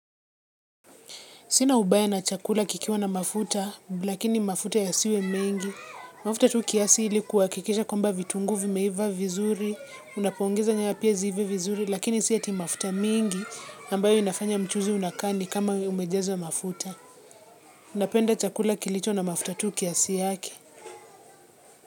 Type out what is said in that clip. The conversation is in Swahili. Sina ubaya na chakula kikiwa na mafuta, lakini mafuta yasiwe mengi. Mafuta tu kiasi ili kuhakikisha kwamba vitunguu vimeiva vizuri, unapoongeza nyanya pia ziive vizuri, lakini si ati mafuta mingi, ambayo inafanya mchuzi unakaa ni kama umejazwa mafuta. Napenda chakula kilicho na mafuta tu kiasi yake.